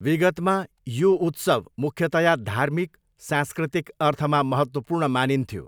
विगतमा, यो उत्सव मुख्यतया धार्मिक, सांस्कृतिक अर्थमा महत्त्वपूर्ण मानिथ्यो।